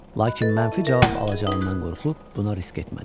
Lakin mənfi cavab alacağından qorxub, buna risk etmədi.